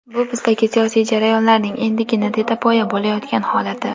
Bu bizdagi siyosiy jarayonlarning endigina tetapoya bo‘layotgan holati.